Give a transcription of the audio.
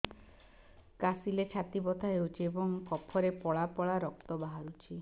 କାଶିଲେ ଛାତି ବଥା ହେଉଛି ଏବଂ କଫରେ ପଳା ପଳା ରକ୍ତ ବାହାରୁଚି